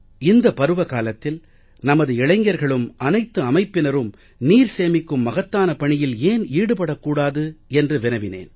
இந்தப் பருவ காலத்தில் நமது இளைஞர்களும் அனைத்து அமைப்பினரும் நீர் சேமிக்கும் மகத்தான பணியில் ஏன் ஈடுபடக் கூடாது என்று வினவினேன்